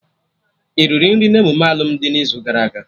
Iriri nri n'emume alụmdi n'izu gara aga?